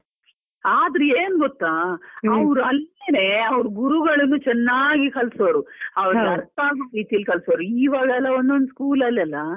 ಆದ್ರೆ ಏನ್ ಗೊತ್ತಾ, ಅವರು ಅಲ್ಲಿನೇ ಗುರುಗಳು ಚೆನ್ನಾಗಿ ಕಲ್ಸೋರು ಅವರಿಗೆ ಅರ್ಥ ಆಗುವ ರೀತಿಯಲ್ಲಿ ಕಲ್ಸೋರು. ಇವಾಗೆಲ್ಲಾ ಒಂದ್ ಒಂದ್ school ಅಲ್ಲಿಯಲ್ಲಾ,